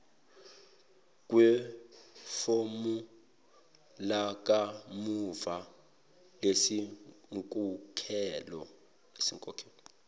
kwefomu lakamuva lezinkokhelo